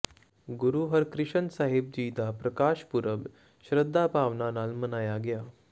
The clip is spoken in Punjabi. ਗੁਰੂ ਹਰਿਕ੍ਰਿਸ਼ਨ ਸਾਹਿਬ ਜੀ ਦਾ ਪ੍ਰਕਾਸ਼ ਪੁਰਬ ਸ਼ਰਧਾ ਭਾਵਨਾ ਨਾਲ ਮਨਾਇਆ ਗਿਆ